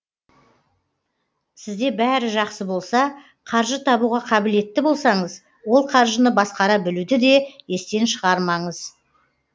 сізде бәрі жақсы болса қаржы табуға қабілетті болсаңыз ол қаржыны басқара білуді де естен шығармаңыз